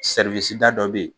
da dɔ be yen